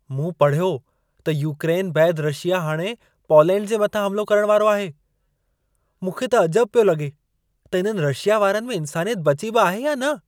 मूं पढ़ियो त यूक्रेन बैदि रशिया हाणे पौलेंड जे मथां हमलो करण वारो आहे! मूंखे त अजबु पियो लगे॒ त इन्हनि रशिया वारनि में इन्सानियत बची बि आहे या न!